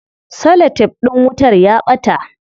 Cellotef din wutar ya ɓata.